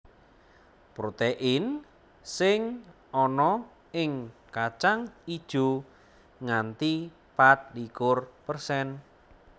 Protein sing ana ing kacang ijo nganti pat likur persen